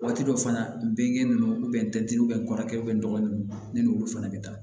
Waati dɔ fana ben ninnu ntɛnɛn n kɔrɔkɛ dɔgɔnin ninnu ne n'olu fana bɛ taa